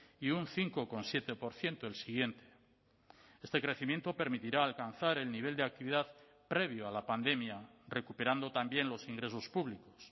y un cinco coma siete por ciento el siguiente este crecimiento permitirá alcanzar el nivel de actividad previo a la pandemia recuperando también los ingresos públicos